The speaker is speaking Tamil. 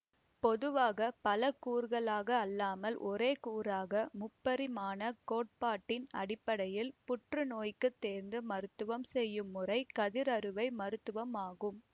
பொதுவாக பல கூறுகளாக அல்லாமல் ஒரே கூறாக முப்பரிமாணக் கோட்பாட்டின் அடிப்படையில் புற்றுநோய்க்கு தேர்ந்து மருத்துவம் செய்யும் முறை கதிர்அறுவை மருத்துவம் ஆகும்